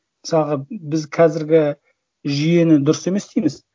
мысалға біз қазіргі жүйені дұрыс емес дейміз